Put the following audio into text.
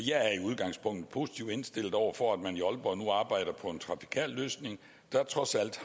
udgangspunktet positivt indstillet over for at man i aalborg nu arbejder på en trafikal løsning der trods alt